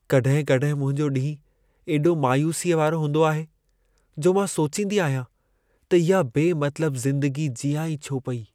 कॾहिं-कॾहिं मुंहिंजो ॾींहुं एॾो मायूसीअ वारो हूंदो आहे, जो मां सोचींदी आहियां त इहा बेमतलब ज़िंदगी जीयां ई छो पई?